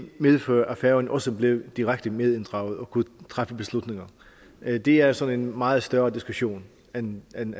medføre at færøerne også blev direkte medinddraget og kunne træffe beslutninger det er sådan en meget større diskussion end den